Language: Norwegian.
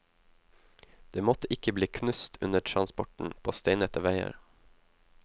Det måtte ikke bli knust under transporten på steinete veier!